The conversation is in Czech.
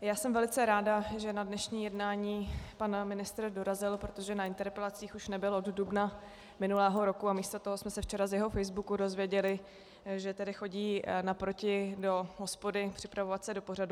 já jsem velice ráda, že na dnešní jednání pan ministr dorazil, protože na interpelacích už nebyl od dubna minulého roku a místo toho jsme se včera z jeho facebooku dozvěděli, že tedy chodí naproti do hospody připravovat se do pořadu.